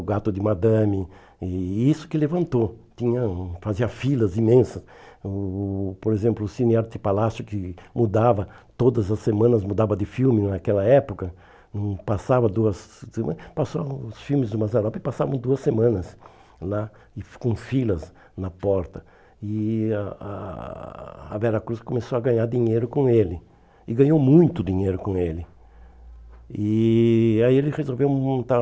o gato de madame e isso que levantou tinha hum fazia filas imensas o por exemplo o cine arte palácio que mudava todas as semanas mudava de filme naquela época hum passava duas passavam os filmes do Mazzaropi passavam duas semanas lá com filas na porta e a a a Vera Cruz começou a ganhar dinheiro com ele e ganhou muito dinheiro com ele e aí ele resolveu montar